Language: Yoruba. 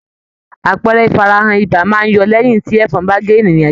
Àpẹẹrẹ ifarahan ibà máa n yọ lẹyin ti ẹfọn ba gé ènìyàn jẹ.